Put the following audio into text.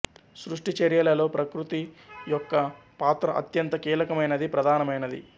సృష్టి చర్యలలో ప్రకృతి యోక్క్ పాత్ర అత్యంత కీలకమైనది ప్రధానమైనది